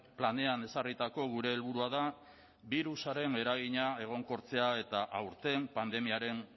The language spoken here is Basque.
planean ezarritako gure helburua da birusaren eragina egonkortzea eta aurten pandemiaren